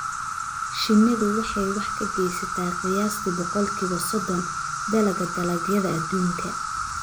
Shinnidu waxay wax ka geysataa qiyaastii boqolkiiba soddon dalagga dalagyada adduunka.